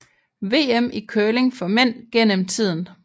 VM i curling for mænd gennem tiden